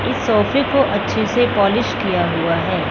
इस सोफे को अच्छे से पॉलिश किया हुआ है।